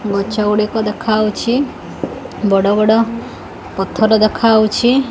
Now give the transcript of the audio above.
ଗଛ ଗୁଡିକ ଦେଖାହଉଛି ବଡ ବଡ଼ ପଥର ଦେଖାହଉଛି।